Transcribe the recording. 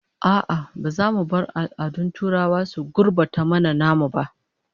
A'a, ba za mu bar al'adun turawa su gurbata mana namu ba